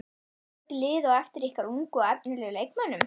Eru mörg lið á eftir ykkar ungu og efnilegu leikmönnum?